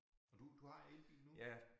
Og du du har elbil nu?